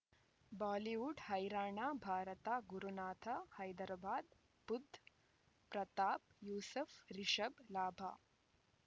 Bollywood ಹೈರಾಣ ಭಾರತ ಗುರುನಾಥ ಹೈದರಾಬಾದ್ ಬುಧ್ ಪ್ರತಾಪ್ ಯೂಸುಫ್ ರಿಷಬ್ ಲಾಭ